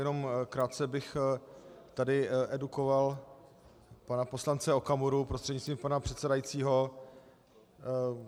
Jenom krátce bych tady edukoval pana poslance Okamuru prostřednictvím pana předsedajícího.